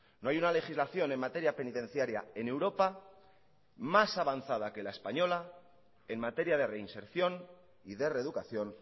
no hay una legislación en materia penitenciaria en europa más avanzada que la española en materia de reinserción y de reeducación